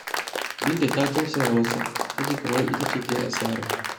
Binta ta tausaya masa, ta ji kamar ita ce ta yi asarar.